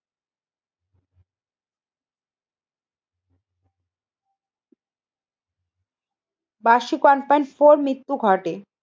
বার্ষিক one point four মৃত্যু ঘটে।